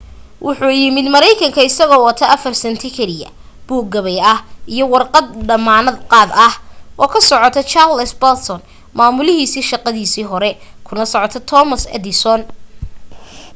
wuxuu yimid mareykanka isagoo wata 4 senti kaliya buug gabay ah iyo warqad damaanad qaad ah oo ka socota charles batchelor maamulihiisii shaqadiisii hore kuna socota thomas edison